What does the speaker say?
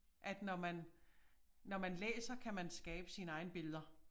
At når man når man læser kan man skabe sine egne billeder